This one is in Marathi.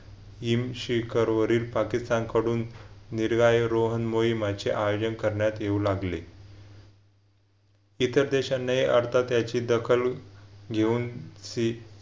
शेखर वरील पाकिस्तानकडून मिरगायो रोहन मोहिमाचे आयोजन करण्यात येऊ लागले. इतर देशांनी अर्थात याची दखल घेऊन